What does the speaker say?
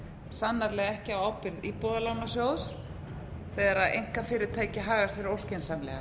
sannarlega ekki á ábyrgð íbúðalánasjóðs þegar einkafyrirtæki haga sér óskynsamlega